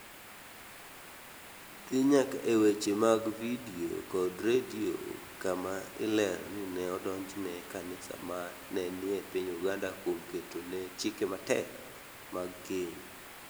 dhi nyaka e weche mag Vidio kod Redio kama ilero ni Ne odonjone kanisa ma ne ni e piny Uganda kuom ketone chike matek mag keny.